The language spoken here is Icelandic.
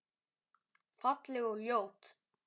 Falleg og ljót.